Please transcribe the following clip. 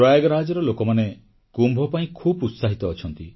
ପ୍ରୟାଗରାଜର ଲୋକମାନେ କୁମ୍ଭ ପାଇଁ ଖୁବ୍ ଉତ୍ସାହିତ ଅଛନ୍ତି